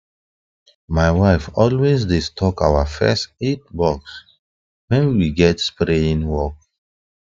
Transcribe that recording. my wife always dey stock our first aid box when we get spraying work